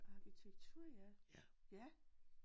Arkitektur ja ja